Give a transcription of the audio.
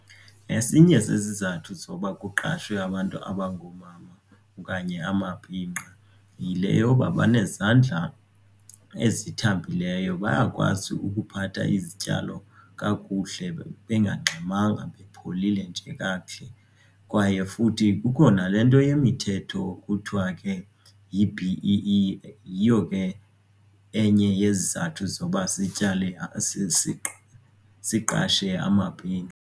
Esinye sezizathu zoba kuqashwe abantu abangoomama okanye amabhinqa yile yoba benezandla ezithambileyo bayakwazi ukuphatha izityalo kakuhle bengangxamanga bepholile nje kakuhle. Kwaye futhi kukho nale nto yemithetho kuthiwa ke yi-B_E_E yiyo ke enye yezizathu zokuba zityale siqashe amabhinqa.